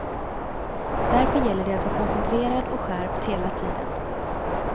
Därför gäller det att vara koncentrerad och skärpt hela tiden.